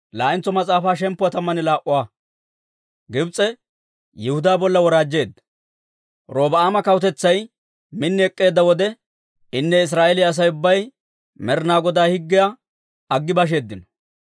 Robi'aama kawutetsay min ek'k'eedda wode, inne Israa'eeliyaa Asay ubbay Med'inaa Godaa higgiyaa aggi basheeddino.